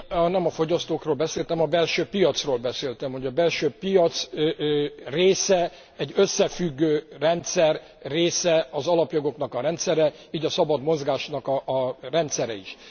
Én nem a fogyasztókról beszéltem, a belső piacról beszéltem, hogy a belső piac része, egy összefüggő rendszer része az alapjogoknak a rendszere, így a szabad mozgásnak a rendszere is.